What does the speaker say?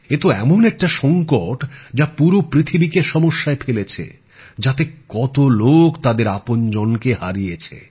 এতো এমন একটা সংকট যা পুরো পৃথিবীকে সমস্যায় ফেলেছে যাতে কতো লোক তাদের আপনজনকে হারিয়েছে